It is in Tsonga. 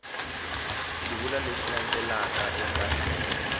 xivulwa lexi landzelaka eka tlhelo